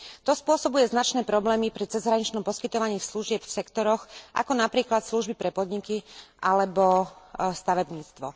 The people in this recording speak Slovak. To spôsobuje značné problémy pri cezhraničnom poskytovaní služieb v sektoroch, ako napríklad služby pre podniky alebo stavebníctvo.